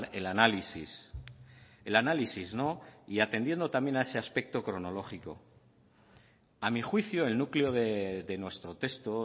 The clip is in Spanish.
el análisis el análisis y atendiendo también a ese aspecto cronológico a mi juicio el núcleo de nuestro texto